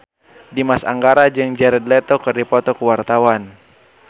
Dimas Anggara jeung Jared Leto keur dipoto ku wartawan